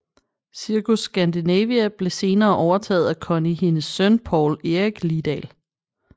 Cirkus Scandinavia blev senere overtaget at Conny Hendes søn Poul Erik Lidal